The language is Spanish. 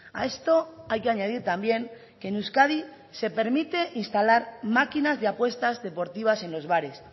a esto hay que añadir también que en euskadi se permite instalar máquinas de apuestas deportivas en los bares